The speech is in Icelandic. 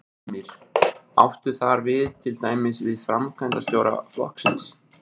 Heimir: Áttu þar við til dæmis við framkvæmdarstjóra flokksins?